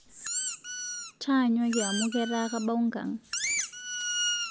Taanyuaki amu ketaa kabau nkang